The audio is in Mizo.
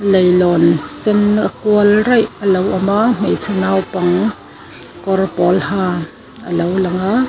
leihlawn sen a kual raih a lo awm a hmeichhe naupang kawr pawl ha a lo lang a.